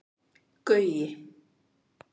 Gaui